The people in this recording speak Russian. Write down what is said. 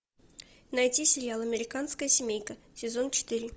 найти сериал американская семейка сезон четыре